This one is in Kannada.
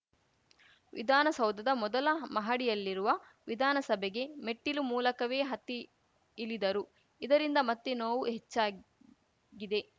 ವಿಧಾನಸೌಧದ ಮೊದಲ ಮಹಡಿಯಲ್ಲಿರುವ ವಿಧಾನಸಭೆಗೆ ಮೆಟ್ಟಿಲು ಮೂಲಕವೇ ಹತ್ತಿ ಇಲಿದರು ಇದರಿಂದ ಮತ್ತೆ ನೋವು ಹೆಚ್ಚಾಗಿದೆ